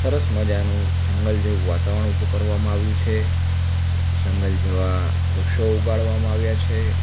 સરસ મજાનું જંગલ જેવું વાતાવરણ ઊભું કરવામાં આવ્યું છે જંગલ જેવા વૃક્ષો ઉગાડવામાં આવ્યા છે.